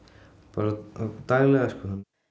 bara daglega sko